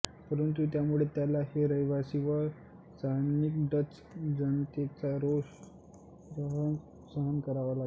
परंतु यामुळे त्याला हे रहिवासी व स्थानिक डच जनतेचा रोष सहन करावा लागला